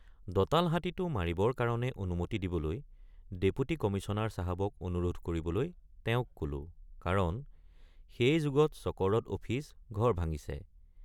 দঁতাল হাতীটো মাৰিবৰ কাৰণে অনুমতি দিবলৈ ডেপুটী কমিশ্যনাৰ চাহাবক অনুৰোধ কৰিবলৈ তেওঁক কলোঁ কাৰণ সেই যোগত চকৰদ অফিচ ঘৰ ভাঙিছে।